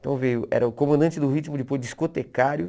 Então, veio era o comandante do ritmo, depois discotecário.